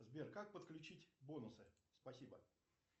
сбер как подключить бонусы спасибо